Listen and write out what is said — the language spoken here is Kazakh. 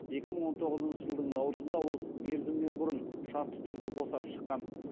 екі мың он тоғызыншы жылдың наурызында ол мерзімінен бұрын шартты түрде босап шыққан